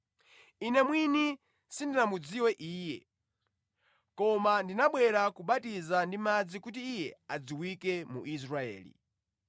Ine mwini sindinamudziwe Iye, koma ndinabwera kubatiza ndi madzi kuti Iye adziwike mu Israeli.”